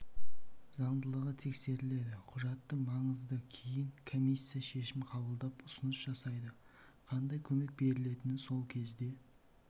заңдылығы тексеріледі құжаты маңызды кейін комиссия шешім қабылдап ұсыныс жасайды қандай көмек берілетіні сол кезде